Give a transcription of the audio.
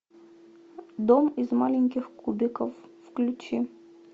дом из маленьких кубиков включи